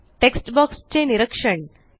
text box चे निरीक्षण